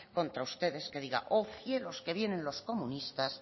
contra ustedes que diga oh cielos que vienen los comunistas